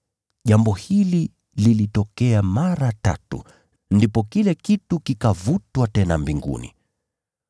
Jambo hili lilitokea mara tatu, ndipo kile kitu kikavutwa tena mbinguni.